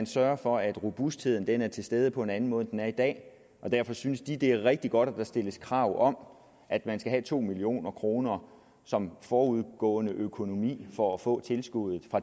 sørge for at robustheden er til stede på en anden måde end den er i dag og derfor synes de det er rigtig godt at der stilles krav om at man skal have to million kroner som forudgående økonomi for at få